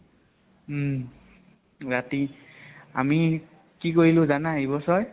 উম । ৰাতি আমি কি কৰিলো জানা এই বছৰ?